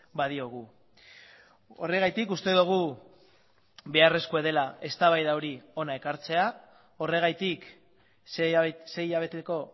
badiogu horregatik uste dugu beharrezkoa dela eztabaida hori hona ekartzea horregatik sei hilabeteko